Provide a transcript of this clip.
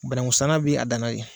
Banankun sang bɛ a damana de.